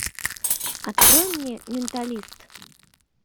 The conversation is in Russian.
открой мне менталист